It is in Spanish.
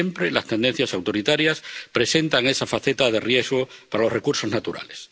Siempre las tendencias autoritarias presentan esa faceta de riesgo para los recursos naturales.